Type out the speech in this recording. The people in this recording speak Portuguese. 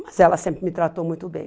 Mas ela sempre me tratou muito bem.